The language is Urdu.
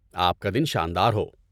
آپ کا دن شاندار ہو!